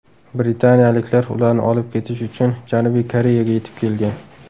Britaniyaliklar ularni olib ketish uchun Janubiy Koreyaga yetib kelgan.